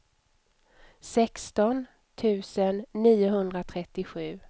sexton tusen niohundratrettiosju